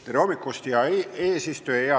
Tere hommikust, hea eesistuja!